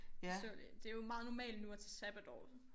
Så det jo meget normalt nu at tage sabbatår